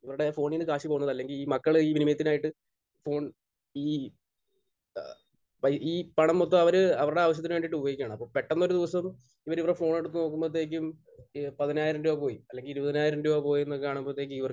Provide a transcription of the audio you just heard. ഇവരുടെ ഫോണിൽ നിന്ന് കാശ് പോകുന്നത് അല്ലെങ്കിൽ ഈ മക്കളുടെ ഈ വിനിമയത്തിനായിട്ട് ഫോൺ ഈ ഏഹ് വ് ഈ പണം മൊത്തം അവർ അവരുടെ ആവശ്യത്തിന് വേണ്ടിയിട്ട് ഉപയോഗിക്കുകയാണ്. അപ്പോൾ പെട്ടെന്ന് ഒരു ദിവസം ഇവർ ഇവരുടെ ഫോൺ എടുത്ത് നോക്കുമ്പോഴത്തേക്കും ഇ പതിനായിരം രൂപ പോയി അല്ലെങ്കിൽ ഇരുപതിനായിരം രൂപ പോയി എന്നുള്ളത് കാണുമ്പോഴത്തേക്കും ഇവർക്ക്